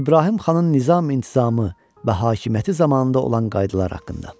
İbrahim xanın nizam-intizamı və hakimiyyəti zamanında olan qaydaları haqqında.